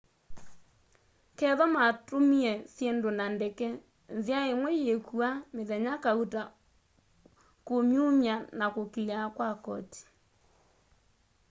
kethwa matumie syindu na ndeke nzia imwe yíkua mithenya kauta kúmyumya na kuclear kwa koti